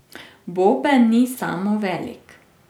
Boben ni samo velik.